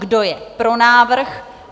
Kdo je pro návrh?